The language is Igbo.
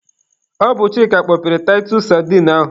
Ọ bụ Chịka kpọpere taịtus sadine ahụ.